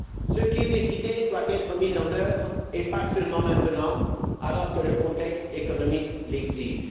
Ce qui est décidé doit être mis en œuvre, et pas seulement maintenant, alors que le contexte économique l'exige.